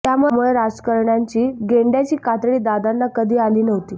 त्यामुळं राजकारण्यांची गेंड्यांची कातडी दादांना कधी आली नव्हती